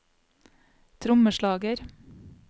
trommeslager